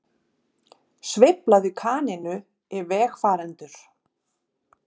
Sveiflaði kanínu í vegfarendur